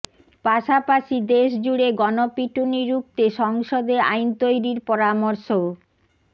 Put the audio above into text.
পাশাপাশি দেশ জুড়ে গণপিটুনি রুখতে সংসদে আইন তৈরির পরামর্শও